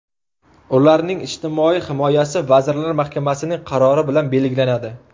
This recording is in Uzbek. Ularning ijtimoiy himoyasi Vazirlar Mahkamasining qarori bilan belgilanadi.